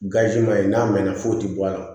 n'a mɛnna foyi ti bɔ a la